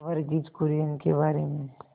वर्गीज कुरियन के बारे में